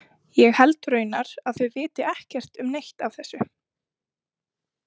Ég held raunar að þau viti ekkert um neitt af þessu.